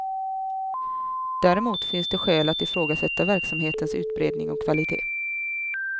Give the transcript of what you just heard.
Däremot finns det skäl att ifrågasätta verksamhetens utbredning och kvalitet.